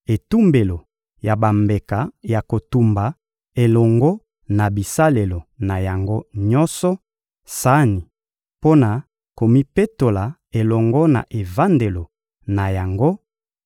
etumbelo ya bambeka ya kotumba elongo na bisalelo na yango nyonso; sani mpo na komipetola elongo na evandelo na yango;